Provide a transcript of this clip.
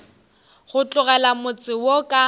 go tlogela motse wo ka